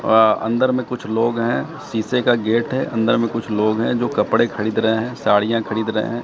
आ अन्दर में कुछ लोग हैं सीसे का गेट है अन्दर में कुछ लोग हैं जो कपड़े खरीद रहे हैं साड़ियां खरीद रहे हैं।